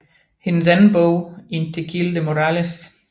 Hendes anden bog In Tequil de Morrales